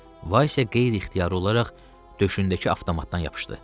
Vaysə qeyri-ixtiyari olaraq döşündəki avtomatdan yapışdı.